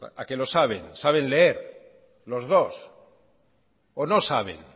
a qué lo saben saben leer los dos o no saben